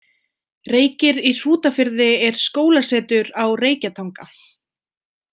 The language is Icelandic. Reykir í Hrútafirði er skólasetur á Reykjatanga.